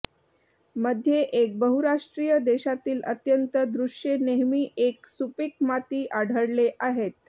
मध्ये एक बहुराष्ट्रीय देशातील अत्यंत दृश्ये नेहमी एक सुपीक माती आढळले आहेत